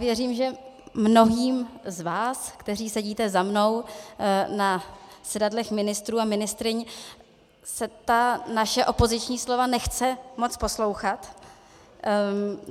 Věřím, že mnohým z vás, kteří sedíte za mnou na sedadlech ministrů a ministryň, se ta naše opoziční slova nechce moc poslouchat.